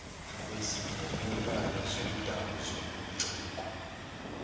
kwezivumelwano zokomdabu zobuciko